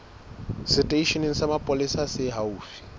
seteisheneng sa mapolesa se haufi